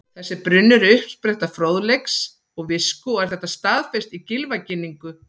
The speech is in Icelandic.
Þessi brunnur er uppspretta fróðleiks og visku og er þetta staðfest í Gylfaginningu: